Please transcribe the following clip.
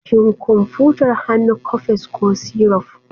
Shin kwamfutar hannu coffex ko syruf?